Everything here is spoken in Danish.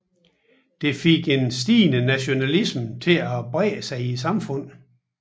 Det fik en stigende nationalisme til at brede sig i samfundet